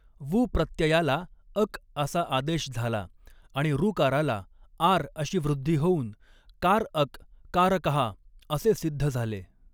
वु प्रत्ययाला अक असा आदेश झाला आणि ऋकाराला आर् अशी वृद्धि होऊन कार् अक कारकः असे सिद्ध झाले